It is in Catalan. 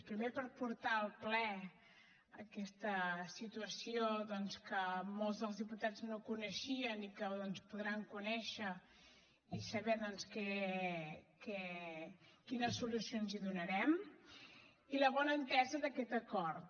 primer per portar al ple aquesta situació doncs que molts dels diputats no coneixien i que doncs podran conèixer i saber quines solucions hi donarem i la bona entesa d’aquest acord